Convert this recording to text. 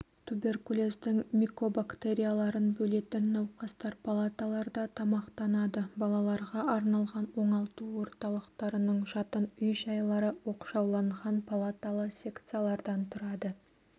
туберкулездің микобактерияларын бөлетін науқастар палаталарда тамақтанады балаларға арналған оңалту орталықтарының жатын үй-жайлары оқшауланған палаталы секциялардан тұрады